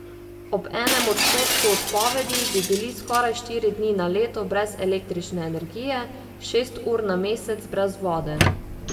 Ob enem odstotku odpovedi bi bili skoraj štiri dni na leto brez električne energije, šest ur na mesec brez vode ...